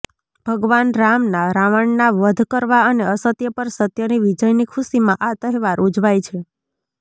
ભગવાન રામના રાવણના વધ કરવા અને અસત્ય પર સત્યની વિજયની ખુશીમાં આ તહેવાર ઉજવાય છે